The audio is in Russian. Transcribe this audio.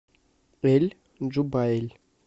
эль джубайль